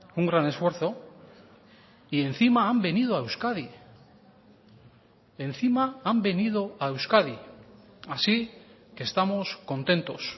un gran esfuerzo y encima han venido a euskadi encima han venido a euskadi así que estamos contentos